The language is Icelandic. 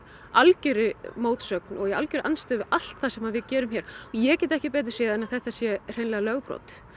algjörri mótsögn og í algjörri andstöðu við allt það sem við gerum hér ég get ekki betur séð en að þetta sé hreinlega lögbrot